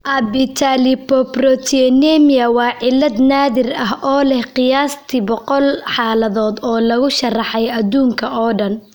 Abetalipoproteinemia waa cillad naadir ah oo leh qiyaastii boqol xaaladood oo lagu sharraxay adduunka oo dhan.